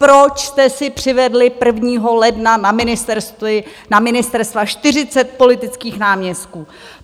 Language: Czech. Proč jste si přivedli 1. ledna na ministerstva 40 politických náměstků!